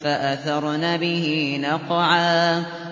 فَأَثَرْنَ بِهِ نَقْعًا